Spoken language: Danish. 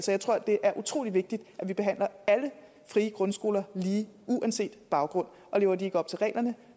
jeg tror det er utrolig vigtigt at vi behandler alle frie grundskoler lige uanset baggrund og lever de ikke op til reglerne